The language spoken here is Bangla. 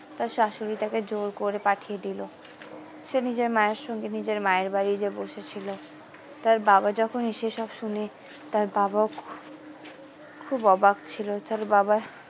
তার শাশুড়ি তাকে জোড় করে পাঠিয়ে দিলো সে নিজের মায়ের সঙ্গে নিজের মায়ের বাড়ি যেয়ে বসে ছিল তার বাবা যখন এই সব শোনে তার বাবাও খুব অবাক ছিল তার বাবা।